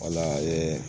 Wala